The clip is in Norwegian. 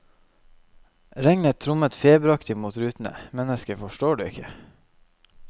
Regnet trommer feberaktig mot rutene, menneske forstår du ikke.